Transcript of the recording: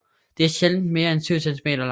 De er sjældent mere en 7 centimeter lange